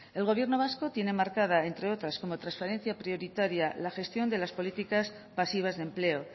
el gobierno vasco tiene marcada entre otras como trasferencia prioritaria la gestión de las políticas pasivas de empleo